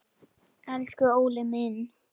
Elsku Óli minn.